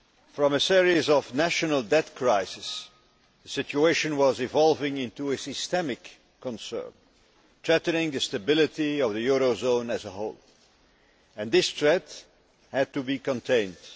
From a series of national debt crises, the situation was evolving into a systemic concern, threatening the stability of the eurozone as whole, and this threat had to be contained.